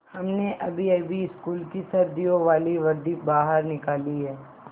हमने अभीअभी स्कूल की सर्दियों वाली वर्दी बाहर निकाली है